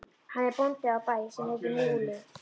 Hann er bóndi á bæ sem heitir Múli.